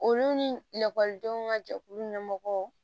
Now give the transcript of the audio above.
Olu ni lakɔlidenw ka jɛkulu ɲɛmɔgɔ